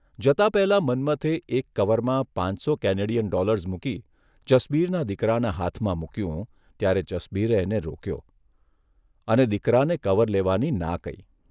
જતા પહેલા મન્મથે એક કવરમાં પાંચસો કેનેડીયન ડોલર્સ મૂકી જસબીરના દીકરાના હાથમાં મૂક્યું ત્યારે જસબીરે એને રોક્યો અને દીકરાને કવર લેવાની ના કહી.